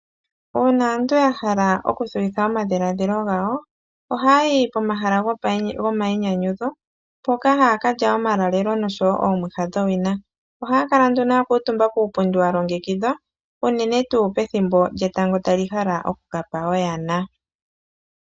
Uuna aantu ya hala okuthuwitha omadhiladhilo gawo, ohaa yi pomahala gomayinyanyudho, mpoka haa ka lya omaulalelo nosho wo oomwiha dhowina. Ohaa kala nduno ya kuutumba puupundi wa longekidhwa, unene tuu pethimbo lyetango tali hala oku ka pa oyana.